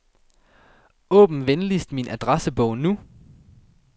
Åbn venligst min adressebog nu.